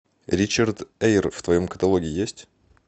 ричард эйр в твоем каталоге есть